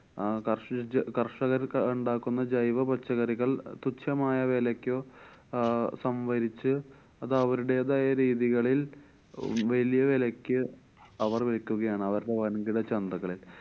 ആഹ് കര്ഷിച്ച~ കര്‍ഷകര്‍ക്ക് ഇണ്ടാക്കുന്ന ജൈവ പച്ചക്കറികള്‍ തുച്ഛമായ വിലക്കു അഹ് സംഭരിച്ചു അത് അവരുടെതായ രീതികളില്‍ വലിയ വിലക്കു അവര്‍ വിക്കുകയാണ്. അവരുടെ വന്‍കിട ചന്തകളില്‍.